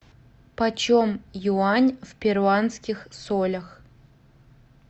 почем юань в перуанских солях